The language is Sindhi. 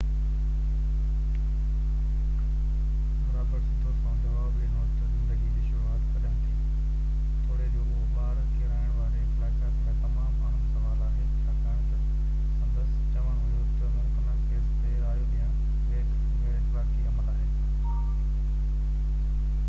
رابرٽس سڌو سنئون جواب ڏنو ته زندگي جي شروعات ڪڏهن ٿي، توڙي جو اهو ٻار ڪيرائڻ واري اخلاقيات لاءِ تمام اهم سوال آهي، ڇاڪاڻ ته سندس چوڻ هيو ته ممڪنه ڪيسن تي رايو ڏيڻ غيراخلاقي عمل آهي